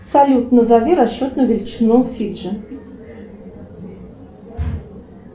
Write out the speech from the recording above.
салют назови расчетную величину фиджи